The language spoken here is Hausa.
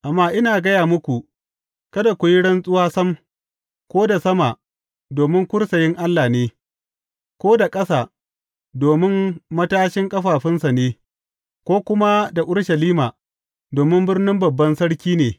Amma ina gaya muku, Kada ku yi rantsuwa sam, ko da sama, domin kursiyin Allah ne; ko da ƙasa, domin matashin ƙafafunsa ne; ko kuma da Urushalima, domin birnin Babban Sarki ne.